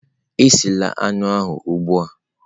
Esila anụ ahụ ugbu a!.